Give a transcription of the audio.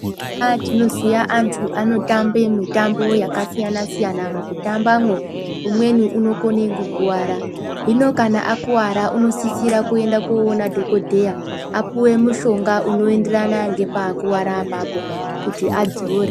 Eya, tinoziya antu anotambe mitambo yakasiyana-siyana. Mukutambamwo, umweni unokone kukuwara. Hino kana akuwara, unosisira kuenda koona dhokodheya, apuwe mushonga unoenderana ngepaakuwara apapo, kuti adzore.